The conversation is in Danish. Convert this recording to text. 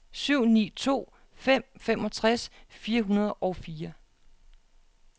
syv ni to fem femogtres fire hundrede og fire